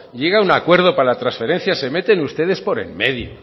llega a un acuerdo para la transferencia se meten ustedes por en medio